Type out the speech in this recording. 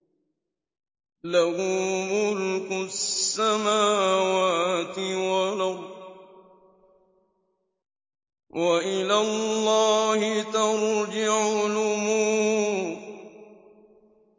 لَّهُ مُلْكُ السَّمَاوَاتِ وَالْأَرْضِ ۚ وَإِلَى اللَّهِ تُرْجَعُ الْأُمُورُ